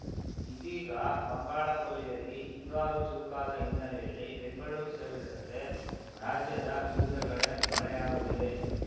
ಇದೀಗ ಬಂಗಾಳಕೊಲ್ಲಿಯಲ್ಲಿ ಹಿಂಗಾರು ಚುರುಕಾದ ಹಿನ್ನೆಲೆಯಲ್ಲಿ ಬೆಂಗಳೂರು ಸೇರಿದಂತೆ ರಾಜ್ಯದ ವಿವಿಧ ಕಡೆ ಮಳೆಯಾಗುತ್ತಿದೆ